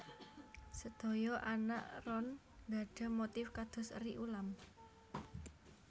Sedaya anak ron gadhah motif kados eri ulam